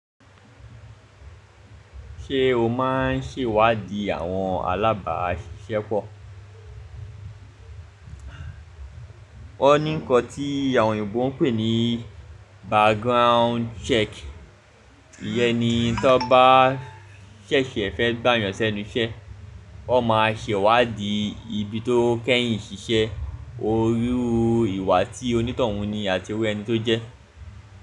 Ṣé o máa ń ṣèwádìí àwọn alábàáṣiṣẹ́pọ̀? Wọ́n ní ǹkan tí àwọn Òyìnbó ń pè ní background check. Iyẹn ni tí ọbá ṣẹ̀ṣẹ̀ fẹ́ gbà yàn sẹ́nu iṣẹ́, wọn máa ṣèwádìí ibi tó kẹ́yìn ṣiṣẹ́, ojú ìwà tí onítọ̀hún ni àti ewé ẹni tó jẹ́.